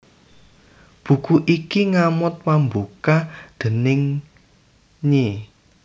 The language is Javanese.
Buku iki ngamot pambuka déning Ny